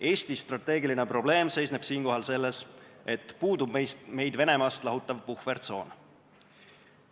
Eesti strateegiline probleem seisneb siinkohal selles, et puudub meid Venemaast lahutav puhvertsoon.